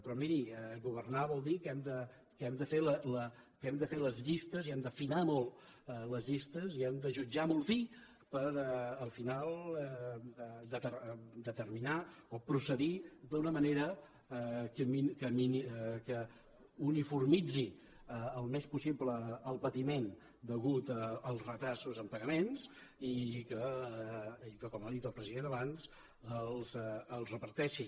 però miri governar vol dir que hem de fer les llistes i hem d’afinar molt les llistes i hem de jutjar molt fi per al final determinar o procedir d’una manera que uniformitzi el més possible el patiment degut als retards en pagaments i que com ha dit el president abans el reparteixi